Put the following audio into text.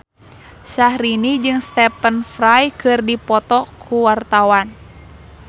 Syahrini jeung Stephen Fry keur dipoto ku wartawan